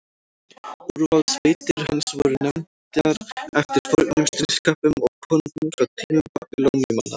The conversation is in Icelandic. úrvalssveitir hans voru nefndar eftir fornum stríðsköppum og konungum frá tímum babýloníumanna